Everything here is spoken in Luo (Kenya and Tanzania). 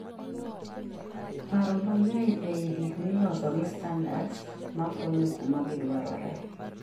paro mangeny ei gik miloso gi standards makonyo kuma gidwarore